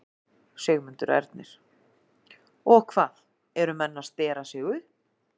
Sigmundur Ernir: Og hvað, eru menn að stera sig upp?